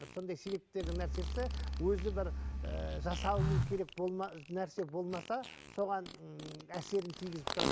бір сондай себептердің нәрсесі өзі бір ііі жасалыну керек нәрсе болмаса соған ммм әсерін тигізіп тұрады